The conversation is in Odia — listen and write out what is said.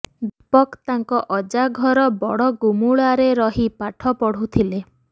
ଦୀପକ ତାଙ୍କ ଅଜା ଘର ବଡଗୁମୁଳାରେ ରହି ପାଠ ପଢୁଥିଲେ